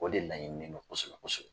O de laɲininen don kosɛbɛ kosɛbɛ